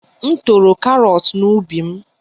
M toro karọt n'ubi m